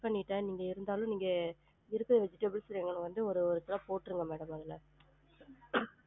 பன்னிட்டேன் நீங்க இருந்தாலும் நீங்க இருக்குற vegetables அஹ் வந்து ஒரு போற்றுங்க madam அதுல